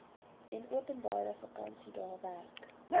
enopenbare vakansiedae werk